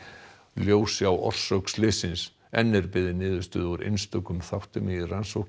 ljósi á orsök slyssins enn er beðið niðurstöðu úr einstökum þáttum í rannsókn